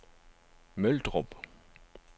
Møldrup